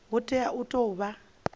hu tea u tou vha